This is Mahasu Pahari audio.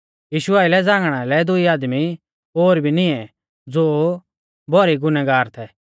यीशु आइलै झ़ांगणा लै दुई आदमी ओर भी निऐं ज़ो भौरी गुनागार थै